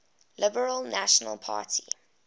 liberal national party